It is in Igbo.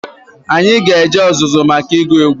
Anyị ga-eje ọzụzụ maka ịgụ egwu.